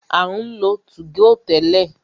A ń lo 2go tẹ́lẹ̀.